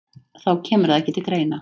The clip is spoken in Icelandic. Þá kemur það ekki til greina